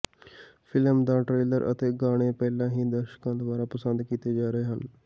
film ਦਾ trailer ਅਤੇ ਗਾਣੇ ਪਹਿਲਾਂ ਹੀ ਦਰਸ਼ਕਾਂ ਦੁਆਰਾ ਪਸੰਦ ਕੀਤੇ ਜਾ ਰਹੇ ਹਨ